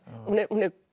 hún er